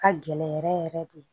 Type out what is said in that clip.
Ka gɛlɛn yɛrɛ yɛrɛ de